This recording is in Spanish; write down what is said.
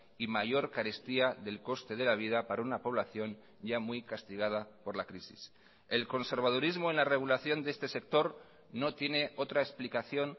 y mayor carestía del coste de la vida para una población ya muy castigada por la crisis el conservadurismo en la regulación de este sector no tiene otra explicación